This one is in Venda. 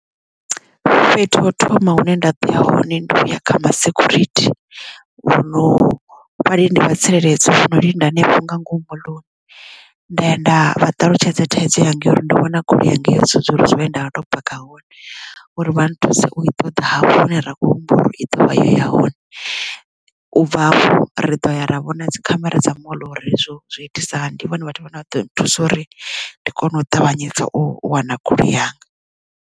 Fhethu ha u thoma hune nda ḓoya hone ndi uya kha ma security vhuno ḽi ndi vhalindi vha tsireledzo vhono linda hanefho nga ngomu moḽoni nda nda vha ṱalutshedza thaidzo yanga yo uri ndi vhona goloi yanga yo sudzulusiwa he nda ndo paka hone uri vha nthuse u i ṱoḓa hafho hune ra khou humbula uri i dovha ya hone u bva ri ḓo ya ra vhona dzikhamera dza moḽo uri zwo zwi itisa hani ndi vhone vhathu vhane vha ḓo thusa uri ndi kone u ṱavhanyedza u wana goloi yanga.